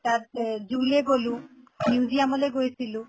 তাতে zoo লে গʼলো museum লৈ গৈছিলো